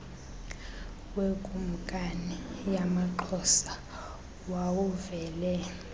wekumkani yamaxhosa wawuvele